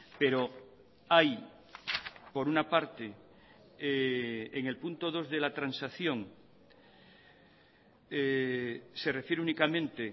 pero hay por una parte en el punto dos de la transacción se refiere únicamente